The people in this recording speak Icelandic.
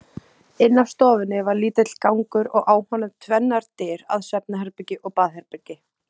Inn af stofunni var lítill gangur og á honum tvennar dyr að svefnherbergi og baðherbergi.